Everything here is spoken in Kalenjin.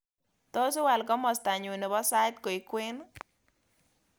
Tos iwaal komastanyu nebo sait koek kwen